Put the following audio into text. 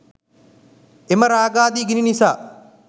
එම රාගාදි ගිනි නිසා